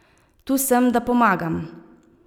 Tu sem, da pomagam.